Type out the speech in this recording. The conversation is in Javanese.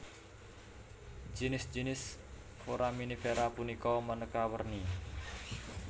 Jinis jinis foraminifera punika manéka werni